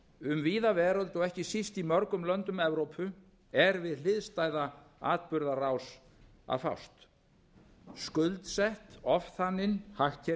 um víða veröld og ekki síst í mörgum löndum eru er við hliðstæða atburðarás að fást skuldsett ofþanin